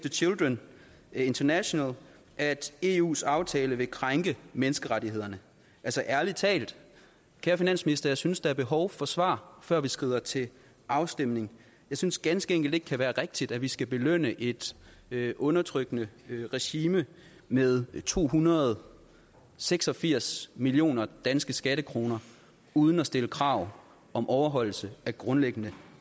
the children international at eus aftale vil krænke menneskerettighederne ærlig talt kære finansminister jeg synes der er behov for svar før vi skrider til afstemning jeg synes ganske enkelt ikke det kan være rigtigt at vi skal belønne et undertrykkende regime med to hundrede og seks og firs millioner danske skattekroner uden at stille krav om overholdelse af grundlæggende